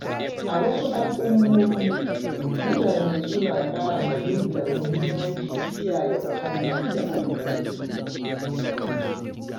A wasu al’ummomi, mutane suna ƙara fahimtar mahimmancin kiyaye muhalli da albarkatu.